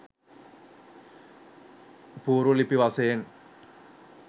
පුවරු ලිපි වශයෙන්